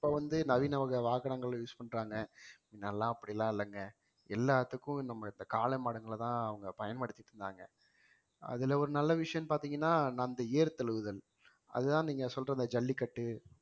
இப்ப வந்து நவீன வகை வாகனங்கள்ல use பண்றாங்க முன்னெல்லாம் அப்படிலாம் இல்லங்க எல்லாத்துக்கும் நம்ம இந்த காளை மாடுங்கள தான் அவங்க பயன்படுத்திட்டு இருந்தாங்க அதுல ஒரு நல்ல விஷயம்னு பாத்தீங்கன்னா நான் அந்த ஏறு தழுவுதல் அதுதான் நீங்க சொல்ற இந்த ஜல்லிக்கட்டு